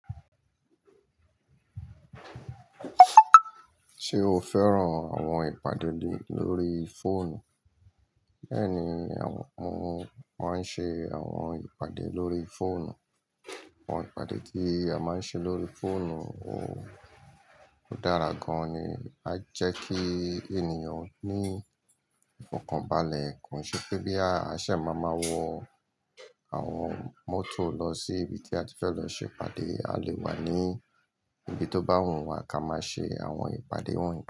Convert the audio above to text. Ṣé o fẹ́ràn àwọn ìpàdé lórí fóònù? Bẹ́ẹ̀ni, àwọn, wọ́n máa ń ṣe àwọn ìpàdé lórí fóònù. Àwọn ìpàdé tí a máa ń ṣe lórí fóònù ò dára gan-an ni, á jẹ́ kí ènìyàn ní ìfokonbalẹ̀ ko se pé boya aṣẹ̀ máa máa wọ àwọn mótò lọ sí ibi tí a ti fẹ́ lọ ṣe ìpàdé, a lè wà ní ibi tó bá wù wá ká máa ṣe àwọn ìpàdé wọ̀nyí.